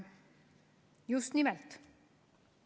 Just nimelt.